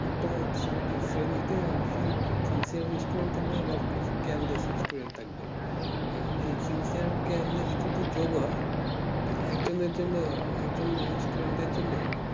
এটা আসলে sincier student থাকবে বা careless student এখুন যদি এই সsincier carless যোগ হয় তাহলে একজন এর জন্য student এর জন্য